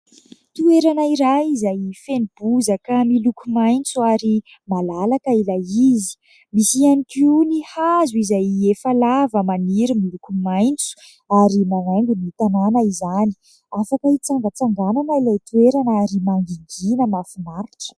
Toerana iray izay feno bozaka miloko maitso ary malalaka ilay izy. Misy ihany koa ny hazo izay efa lava, maniry, miloko maitso ary manaingo ny tanana izany. Afaka hitsangatsanganana ilay toerana ary mangingina mahafinaritra.